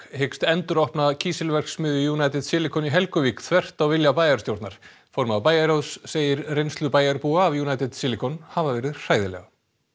hyggst enduropna kísilverksmiðju United Silicon í Helguvík þvert á vilja bæjarstjórnar formaður bæjarráðs segir reynslu bæjarbúa af United Silicon hafa verið hræðilega